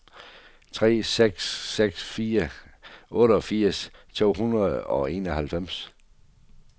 tre seks seks fire otteogfirs to hundrede og enoghalvfjerds